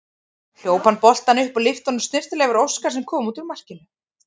Hljóp hann boltann upp og lyfti honum snyrtilega yfir Óskar sem kom út úr markinu.